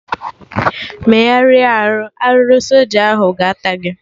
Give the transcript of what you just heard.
Megharịa arụ! Arụrụ soja ahụ ga-ata gị!